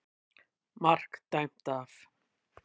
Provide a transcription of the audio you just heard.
MARK DÆMT AF.